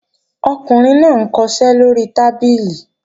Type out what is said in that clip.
Ọkùnrin náà ń kọṣẹ́ lóri tábìlì